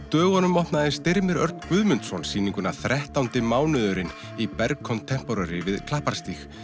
dögunum opnaði Styrmir Örn Guðmundsson sýninguna þrettándi mánuðurinn í Berg Contemporary við Klapparstíg